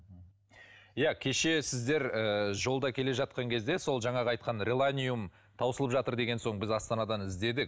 иә кеше сіздер ы жолда келе жатқан кезде сол жаңағы айтқан реланиум таусылып жатыр деген соң біз астанадан іздедік